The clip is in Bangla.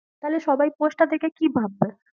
তাহলে সবাই post টা দেখে কি ভাববে